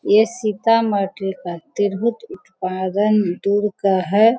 ये सीतामढ़ी का तिरहुत उत्पादन दुर का है।